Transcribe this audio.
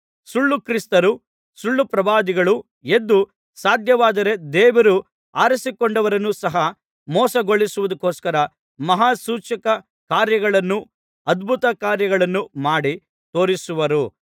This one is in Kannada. ಸುಳ್ಳು ಕ್ರಿಸ್ತರೂ ಸುಳ್ಳುಪ್ರವಾದಿಗಳೂ ಎದ್ದು ಸಾಧ್ಯವಾದರೆ ದೇವರು ಆರಿಸಿಕೊಂಡವರನ್ನು ಸಹ ಮೋಸಗೊಳಿಸುವುದಕ್ಕೋಸ್ಕರ ಮಹಾ ಸೂಚಕ ಕಾರ್ಯಗಳನ್ನೂ ಅದ್ಭುತಕಾರ್ಯಗಳನ್ನೂ ಮಾಡಿ ತೋರಿಸುವರು